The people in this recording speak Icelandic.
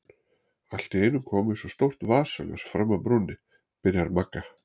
Allt í einu kom eins og stórt vasaljós fram af brúninni, byrjar Magga.